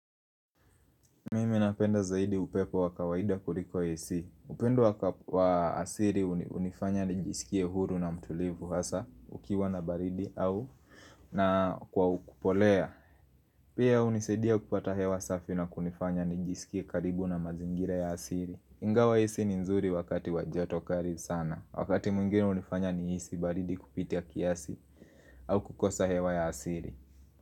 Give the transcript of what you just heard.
Mimi napenda zaidi upepo wa kawaida kuliko Ac. Upendo wa asili hunifanya nijisikie huru na mtulivu hasa ukiwa na baridi au na kwa ukupolea. Pia hunisaidia kupata hewa safi na kunifanya nijisikie karibu na mazingira ya asili. Ingawa AC ni nzuri wakati wa jato kali sana. Wakati mwingine hunifanya nihisi baridi kupitia kiasi au kukosa hewa ya asili.